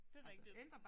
Det rigtigt